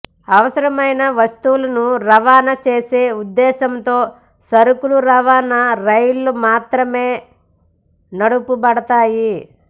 అవసరమైన వస్తువులను రవాణా చేసే ఉద్దేశ్యంతో సరుకు రవాణా రైళ్లు మాత్రమే నడపబడతాయి